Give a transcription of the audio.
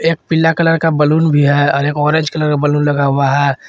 एक पीला कलर का बलून भी है और एक ऑरेंज कलर का बलून लगा हुआ है।